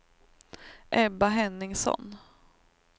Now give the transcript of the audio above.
Ebba Henningsson